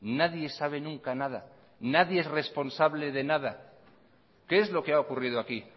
nadie sabe nunca nada nadie es responsable de nada qué es lo que ha ocurrido aquí